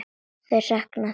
Ég sakna þeirra.